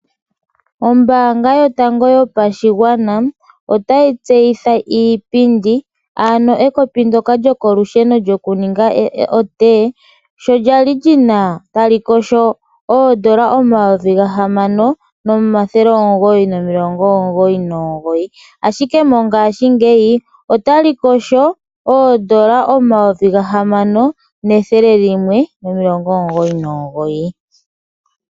Ombanga yotango yopashingwana otayi tseyitha iipindi ano ekopi ndoka lyokolusheno lyokuninga otee sho lyali lina oondola 6,999 ashike mongashi ngeyi olina oodola 6,199.